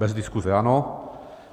Bez diskuse ano.